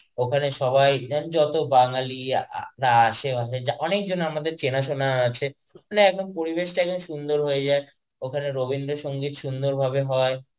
ওখানে সবাই যতো বাঙালি আ~ আসে অনেকজন আমাদের চেনাশুনা আছে মানে একদম পরিবেশটাকে সুন্দর হয়ে যায় ওখানে রবীন্দ্র সঙ্গীত সুন্দর ভাবে হয়,